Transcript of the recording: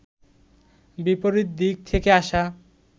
বিপরীত দিক থেকে আসা